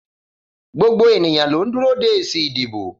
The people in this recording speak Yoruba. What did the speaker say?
Gbogbo ènìyàn ló ń dúró de èsì ìdìbò.